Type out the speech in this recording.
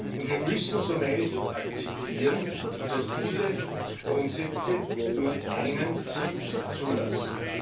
Und wir müssen so meine ich akzeptieren, dass diese Grundsätze nur einen Sitz zulassen.